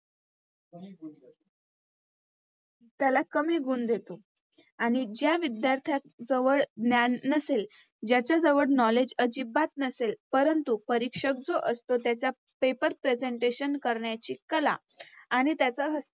त्याला कमी गुण देतो आणि ज्या विध्यार्थ्याजवळ ज्ञान नसेल, ज्याच्याजवळ Knowledge अजिबात नसेल परंतु परीक्षक जो असतो त्याचा Paper presentation करण्याची कला आणि त्याच